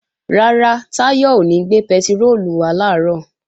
Rárá, Táyọ̀ ò ní gbé pẹtiróòlù wá làárọ̀